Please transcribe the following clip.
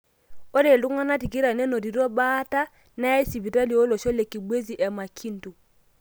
Ore ltunganak tikitam nenotito baa neyae sipitali olosho le kibwezi o Makindu.